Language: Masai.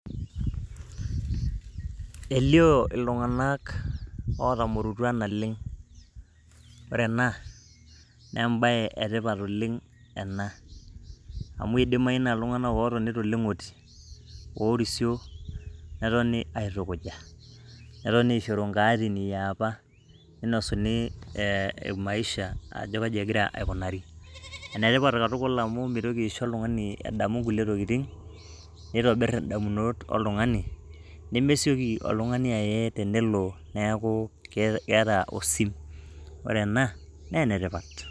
Elio iltung'anak otamorutua naleng', ore ena naa embaye e tipat oleng' ena amu idimayu naa iltung'anak otoni to leng'oti oorisio netoni aitukuja, netoni ainosu nkaatin e apa, ninosuni maisha ajo kaji egira aikunari. Ene tipat ena tukul amu mitoki aisho oltung'ani edamu nkulie tokitin, nitobir ndamunot oltung'ani nemesioki oltung'ani aye tenelo neeku keeta osim. Kore ena naa ene tipat.